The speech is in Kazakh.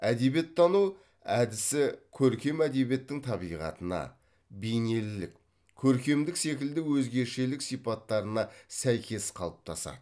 әдебиеттану әдісі көркем әдебиеттің табиғатына бейнелілік көркемдік секілді өзгешелік сипаттарына сәйкес қалыптасады